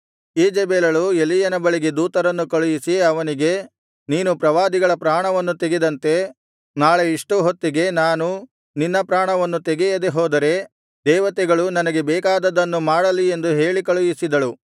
ಈಜೆಬೆಲಳು ಎಲೀಯನ ಬಳಿಗೆ ದೂತರನ್ನು ಕಳುಹಿಸಿ ಅವನಿಗೆ ನೀನು ಪ್ರವಾದಿಗಳ ಪ್ರಾಣವನ್ನು ತೆಗೆದಂತೆ ನಾಳೆ ಇಷ್ಟು ಹೊತ್ತಿಗೆ ನಾನು ನಿನ್ನ ಪ್ರಾಣವನ್ನು ತೆಗೆಯದೇ ಹೋದರೆ ದೇವತೆಗಳು ನನಗೆ ಬೇಕಾದದ್ದನ್ನು ಮಾಡಲಿ ಎಂದು ಹೇಳಿಕಳುಹಿಸಿದಳು